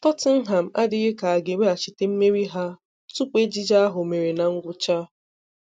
Tottenham adịghị ka ha ga eweghachite mmeri ha tupu ejije ahụ mere na ngwụcha.